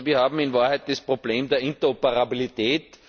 Also wir haben in Wahrheit das Problem der Interoperabilität.